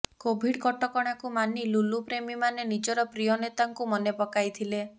Covid କଟକଣାକୁ ମାନି ଲୁଲୁ ପ୍ରେମୀମାନେ ନିଜର ପ୍ରିୟ ନେତାଙ୍କୁ ମନେ ପକାଇଥିଲେ